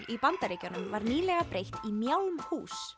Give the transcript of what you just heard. í Bandaríkjunum var nýlega breytt í